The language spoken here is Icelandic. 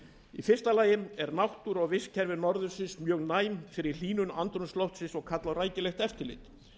í fyrsta lagi eru náttúra og vistkerfi norðursins mjög næm fyrir hlýnun andrúmsloftsins og kalla á rækilegt eftirlit